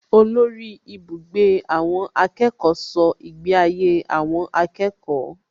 Olórí ibùgbé àwọn akẹ́kọ̀ọ́ ṣọ́ ìgbé ayé àwọn akẹ́kọ̀ọ́